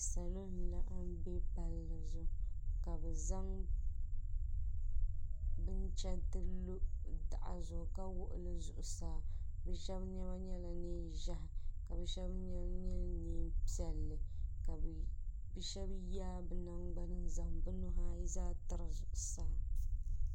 salo n laɣim bɛ palizuɣ' ka bɛ zaŋ bɛnchɛritɛ lo ka taɣ' zuɣ saa shɛbi nɛma nyɛla nɛɛ ʒiɛhi ka be shɛbi nɛma nyɛ nɛpiɛlli ka shɛbi yabɛnagbani be nuhi ayi zaa tɛrizuɣ' saa